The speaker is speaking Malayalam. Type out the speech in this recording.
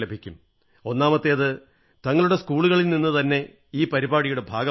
ഒന്നാമത്തേത് തങ്ങളുടെ സ്കൂളിൽ നിന്നുതന്നെ ഈ പരിപാടിയുടെ ഭാഗമാകുക